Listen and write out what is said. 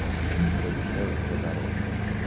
кто дешевле кто дороже